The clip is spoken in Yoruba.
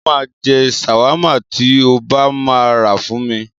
Mo máa jẹ ṣàwámà tí o bá máa rà fún mi.